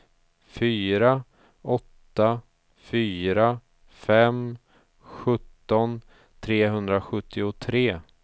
fyra åtta fyra fem sjutton trehundrasjuttiotre